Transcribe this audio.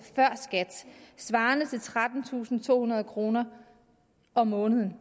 før skat svarende til trettentusinde og tohundrede kroner om måneden